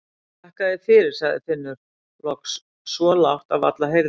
Þakka þér fyrir, sagði Finnur loks svo lágt að varla heyrðist.